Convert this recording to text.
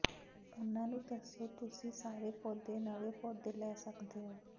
ਉਹਨਾਂ ਨੂੰ ਦੱਸੋ ਤੁਸੀਂ ਸਾਰੇ ਪੌਦੇ ਨਵੇਂ ਪੌਦੇ ਲੈ ਸਕਦੇ ਹੋ